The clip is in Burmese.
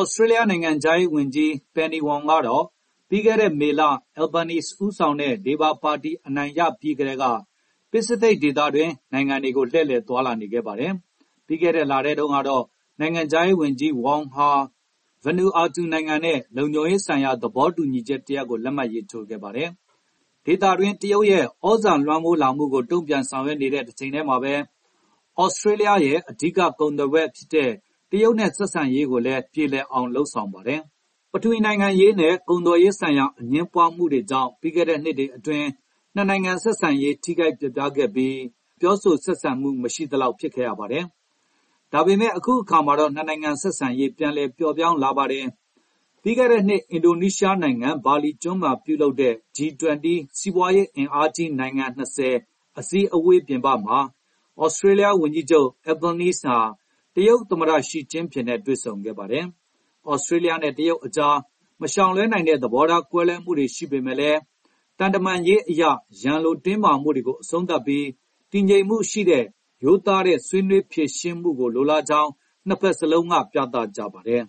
သြစတြေးလျား နိုင်ငံခြားရေးဝန်ကြီး Penny Wong ကတော့ ပြီးခဲ့တဲ့မေလ Albanese ဦးဆောင်တဲ့ လေဘာပါတီအနိုင်ရပြီးကတည်းက ပစိဖိတ်ဒေသနိုင်ငံတွေကို လှည့်လည်သွားလာနေခဲ့ပါတယ်။ ပြီးခဲ့တဲ့လထဲတုန်းကတော့ နိုင်ငံခြားရေးဝန် ကြီး Wong ဟာ Vanuatu နိုင်ငံနဲ့လုံခြုံရေးဆိုင်ရာသဘောတူညီချက်တရပ်ကို လက်မှတ်ရေးထိုးခဲ့ပါတယ်။ ဒေသတွင်းတရုတ်ရဲ့သြဇာလွှမ်းမိုးလာမှုကိုတုံ့ပြန်ဆောင်ရွက်နေတဲ့တချိန်တည်းမှာပဲ သြစတြေးလျားရဲ့ အဓိကကုန်သွယ်ဖက်ဖြစ်တဲ့ တရုတ်နဲ့ဆက်ဆံရေးကိုလည်း ပြေလည်အောင်လုပ်ဆောင်ပါတယ်။ ပထဝီနိုင်ငံရေးနဲ့ ကုန်သွယ်ရေးဆိုင်ရာအငြင်းပွားမှုတွေကြောင့် ပြီးခဲ့တဲ့နှစ်တွေအတွင်း နှစ်နိုင်ငံဆက်ဆံရေး ထိခိုက်ပျက်ပြားခဲ့ပြီး နှစ်နိုင်ငံပြောဆိုဆက်ဆံမှုတွေမရှိသလောက်ဖြစ်ခဲ့ရပါတယ်။ ဒါပေမဲ့ အခုတော့နှစ်နိုင်ငံဆက်ဆံရေး ပြန်လည်ပျော့ပြောင်းလာပါတယ်။ ပြီးခဲ့တဲ့နှစ် အင်ဒိုနီးရှားနိုင်ငံ ဘာလီကျွန်းမှာပြုလုပ်တဲ့ G20 စီးပွားရေးအင်အားကြီးနိုင်ငံ ၂၀ အစည်းဝေးပြင်ပမှာ သြစတြေးလျားဝန်ကြီးချုပ် Albanese ဟာ တရုတ်သမ္မတ ရှီကျင်းဖျင်နဲ့တွေ့ဆုံခဲ့ပါတယ်။ သြစတြေးလျားနဲ့တရုတ်ကြား မရှောင်လွှဲနိုင်တဲ့ သဘောထားကွဲလွဲမှုတွေရှိပေမယ့်လည်း သံတမန်ရေးအရ ရန်လိုတင်းမာမှုတွေကိုအဆုံးသတ်ပြီး၊ တည်ငြိမ်မှုရှိတဲ့၊ ရိုးသားတဲ့ ဆွေးနွေးဖြေရှင်းမှုကိုလိုလားကြောင်းနှစ်ဘက်စလုံးက ပြသကြပါတယ်။